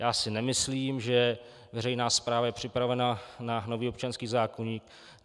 Já si nemyslím, že veřejná správa je připravena na nový občanský zákoník.